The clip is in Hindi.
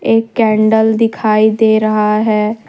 एक कैंडल दिखाई दे रहा है।